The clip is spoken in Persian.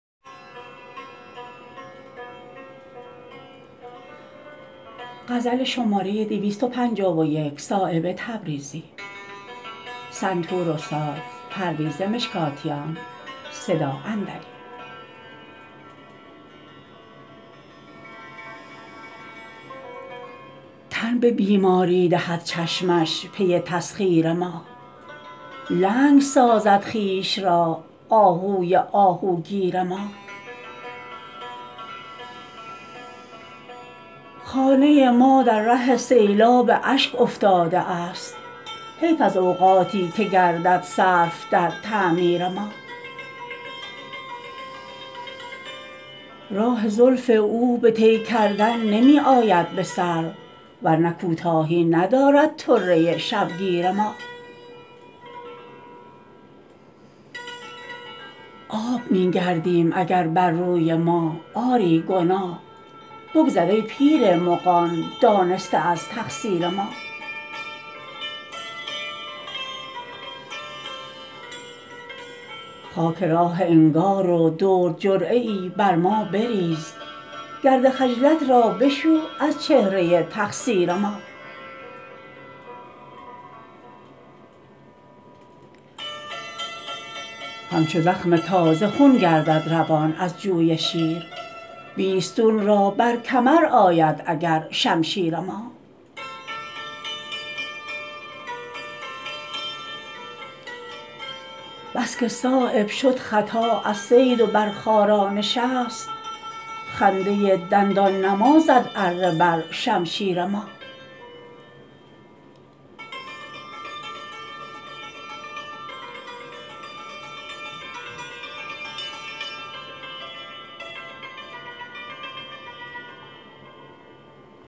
تن به بیماری دهد چشمش پی تسخیر ما لنگ سازد خویش را آهوی آهوگیر ما خانه ما در ره سیلاب اشک افتاده است حیف از اوقاتی که گردد صرف در تعمیر ما راه زلف او به طی کردن نمی آید به سر ورنه کوتاهی ندارد طره شبگیر ما آب می گردیم اگر بر روی ما آری گناه بگذر ای پیر مغان دانسته از تقصیر ما خاک راه انگار و درد جرعه ای بر ما بریز گرد خجلت را بشو از چهره تقصیر ما همچو زخم تازه خون گردد روان از جوی شیر بیستون را بر کمر آید اگر شمشیر ما بس که صایب شد خطا از صید و بر خارا نشست خنده دندان نما زد اره بر شمشیر ما